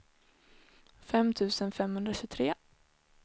fem tusen femhundratjugotre